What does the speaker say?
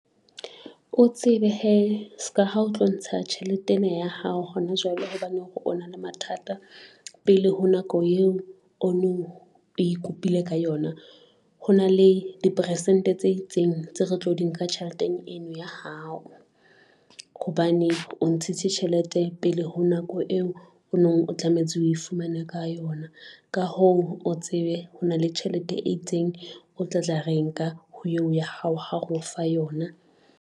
O tsebe he ska ha o tlo ntsha tjhelete ena ya hao hona jwale hobane o na le mathata pele ho nako eo o no e kopile ka yona. Ho na le di persente tse itseng, tse re tlo di nka tjheleteng eno ya hao hobane, o ntshitse tjhelete pele ho nako eo o nong o tlametse o e fumane ka yona. Ka ho o tsebe ho na le tjhelete e itseng, o tlatla re nka ho eo ya hao ha reo fa yona.